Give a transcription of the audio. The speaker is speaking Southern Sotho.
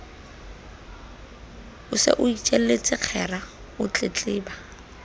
o itjelletse kgera o tletleba